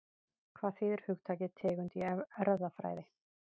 Hvað þýðir hugtakið tegund í erfðafræði?